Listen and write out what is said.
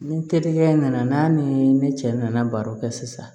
Ni terikɛ nana n'a ni ne cɛ nana baro kɛ sisan